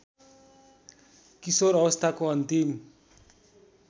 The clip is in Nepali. किशोर अवस्थाको अन्तिम